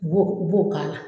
U b'o, i b'o k'a la.